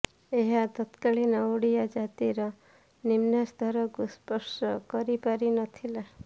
ଏହା ତତ୍କାଳୀନ ଓଡ଼ିଆ ଜାତିର ନିମ୍ନସ୍ତରକୁ ସ୍ପର୍ଶ କରିପାରି ନ ଥିଲା